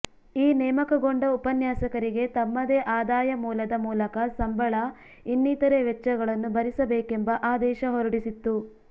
ಈ ನೇಮಕಗೊಂಡ ಉಪನ್ಯಾಸಕರಿಗೆ ತಮ್ಮದೇ ಆದಾಯ ಮೂಲದ ಮೂಲಕ ಸಂಬಳ ಇನ್ನಿತರೆ ವೆಚ್ಚಗಳನ್ನು ಭರಿಸಬೇಕೆಂಬ ಆದೇಶ ಹೊರಡಿಸಿತ್ತು